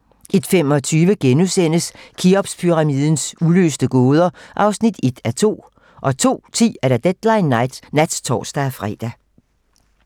01:25: Kheopspyramidens uløste gåder (1:2)* 02:10: Deadline nat (tor-fre)